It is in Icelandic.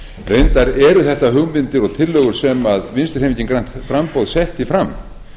reyndar eru þetta hugmyndir og tillögur sem vinstri hreyfingin grænt framboð setti fram